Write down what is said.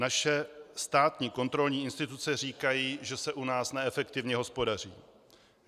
Naše státní kontrolní instituce říkají, že se u nás neefektivně hospodaří.